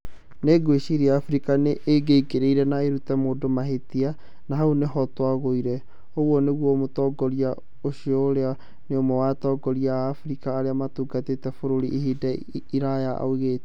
Nĩ ngwĩciria Afrika nĩ ĩngĩaingĩrĩire na ĩrute mũndũ mahĩtia, na hau nĩho twagũire', ũguo nĩguo mũtongoria ũcio urĩa nĩ ũmwe wa atongoria a Afrika arĩa matungatĩite bũrũri ihinda iraya oigire.